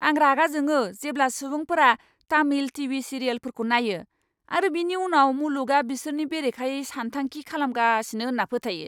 आं रागा जोङो जेब्ला सुबुंफोरा तामिल टीवी सिरियेलफोरखौ नायो आरो बिनि उनाव मुलुगआ बिसोरनि बेरेखायै सानथांखि खालामगासिनो होन्ना फोथायो।